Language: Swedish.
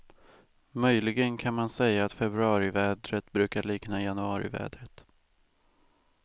Möjligen kan man säga att februarivädret brukar likna januarivädret.